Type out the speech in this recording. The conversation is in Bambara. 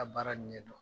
A baara ɲɛ dɔn